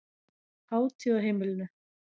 Hátíð á heimilinu